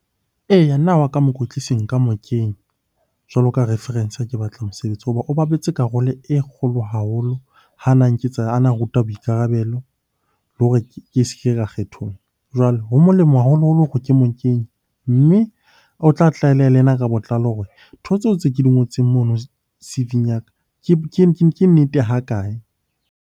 Eya, nna wa ka mokwetlisi nka moketeng jwalo ka reference ha ke batla mosebetsi. Hoba o bapetse karolo e kgolo haholo ha na nketsa, ha na nruta boikarabelo le hore ke se ke ka . Jwale ho molemo haholoholo hore ke mo kenye mme o tla ka botlalo hore ntho tseo tse ke di ngotseng mono C_V-ing ya ka ke nnete ha kae?